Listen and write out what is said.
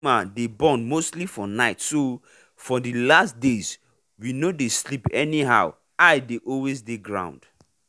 animal day born mostly for nightso for the last days we no day sleep anyhow eye day always day ground.